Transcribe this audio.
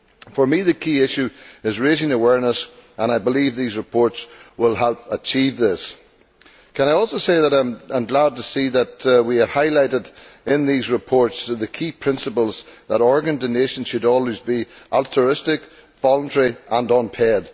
For me, the key issue is raising awareness and I believe these reports will help achieve this. Can I also say that I am glad to see that we have highlighted in these reports the key principles that organ donation should always be altruistic, voluntary and unpaid.